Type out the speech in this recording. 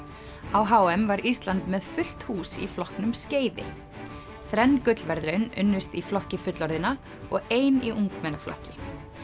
á h m var Ísland með fullt hús í flokknum skeiði þrenn gullverðlaun unnust í flokki fullorðinna og ein í ungmennaflokki